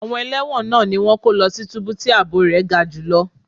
Àwọn ẹlẹ́wọ̀n náà ni wón kọ́ lọ sí túbú tí ààbò rẹ̀ ga jù lọ.